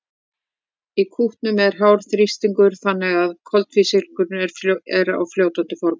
í kútunum er hár þrýstingur þannig að koltvísýringurinn er á fljótandi formi